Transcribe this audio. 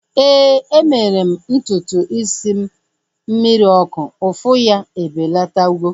Éè, e mere m ntutu isi m mmiri ọkụ. Ụfụ ya ebelatago